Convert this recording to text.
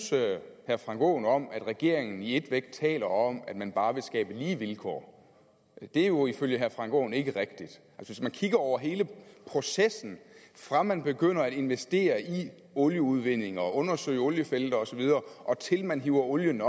herre frank aaen om at regeringen i et væk taler om at man bare vil skabe lige vilkår det er jo ifølge herre frank aaen ikke rigtigt hvis vi kigger hen over hele processen fra man begynder at investere i olieudvinding og undersøge oliefelter osv og til man hiver olie